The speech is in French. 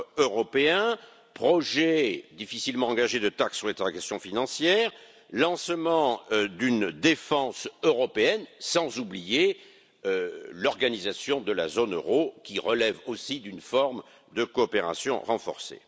européen, projets difficilement engagés de taxe sur les transactions financières, lancement d'une défense européenne, sans oublier l'organisation de la zone euro, qui relève aussi d'une forme de coopération renforcée.